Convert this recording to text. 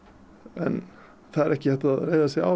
en það er ekki hægt að reiða sig á